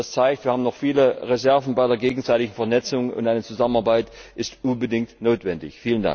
Das zeigt, wir haben noch viele Reserven bei der gegenseitigen Vernetzung und eine Zusammenarbeit ist unbedingt notwendig!